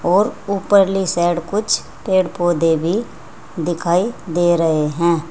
और ऊपर ले साइड कुछ पेड़ पौधे भी दिखाई दे रहे हैं।